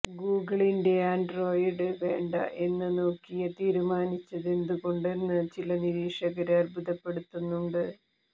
ഗൂഗിളിന്റെ ആന്ഡ്രോയിഡ് വേണ്ട എന്ന് നോക്കിയ തീരുമാനിച്ചതെന്തുകൊണ്ടെന്ന് ചില നിരീക്ഷകര് അത്ഭുതപ്പെടുന്നുണ്ട്